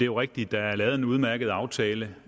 jo rigtigt at der er lavet en udmærket aftale